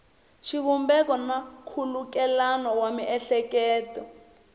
xivumbeko na nkhulukelano wa miehleketo